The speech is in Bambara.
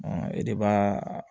E de b'a